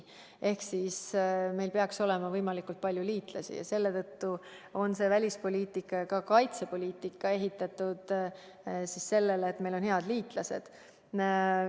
Ehk siis meil peaks olema võimalikult palju liitlasi ja selle tõttu on välispoliitika ja ka kaitsepoliitika ehitatud sellele, et meil on head liitlased.